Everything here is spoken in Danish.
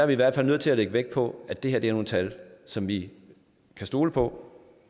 vi i hvert fald nødt til at lægge vægt på at det er nogle tal som vi kan stole på